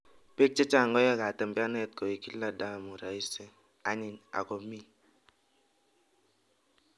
piik chechang koae katembeanet koek kila ndamuu raisi anyiny akomii